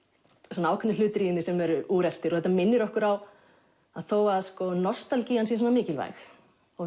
svona ákveðnir hlutir í henni sem eru úreltir og þetta minnir okkur á að þó nostalgían sé svona mikilvæg og